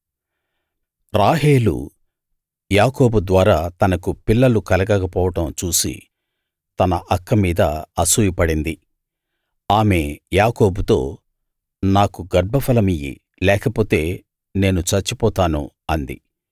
రాహేలు యాకోబు ద్వారా తనకు పిల్లలు కలగక పోవడం చూసి తన అక్క మీద అసూయపడింది ఆమె యాకోబుతో నాకు గర్భఫలమియ్యి లేకపోతే నేను చచ్చిపోతాను అంది